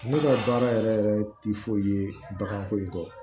Ne ka baara yɛrɛ yɛrɛ ti foyi ye baganko in kɔ